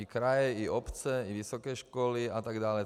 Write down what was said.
I kraje i obce i vysoké školy atd.